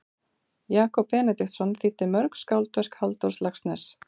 Jakob Benediktsson þýddi mörg skáldverk Halldórs Laxness.